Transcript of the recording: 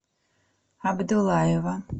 абдуллаева